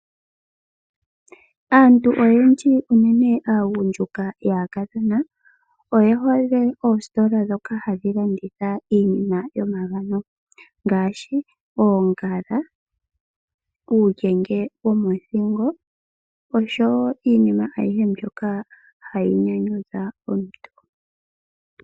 Aantu oyendji, unene aagundjuka yaakadhona oye hole oositola ndhoka hadhi landitha iinima yomangano, ngaashi oongala, uulyenge womothingo nosho woo iinima ayihe ndjoka hayi nyanyudha omuntu.